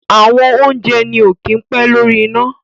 àwọn oúnjẹ ní o kí pé lórí iná